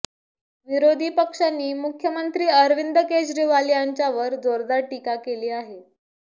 विरोधी पक्षांनी मुख्यमंत्री अरविंद केजरीवाल यांच्यावर जोरदार टीका केली आहे